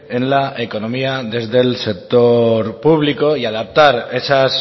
en la economía desde el sector público y adaptar esas